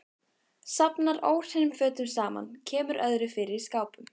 Safnar óhreinum fötum saman, kemur öðru fyrir í skápum.